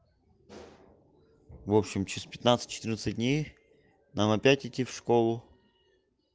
в общем через пятнадцать четырнадцать дней нам опять идти в школу